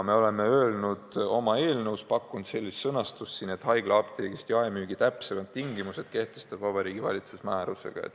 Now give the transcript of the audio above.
Me oleme oma eelnõus pakkunud sellise sõnastuse, et haiglaapteegist jaemüügi täpsemad tingimused kehtestab Vabariigi Valitsus määrusega.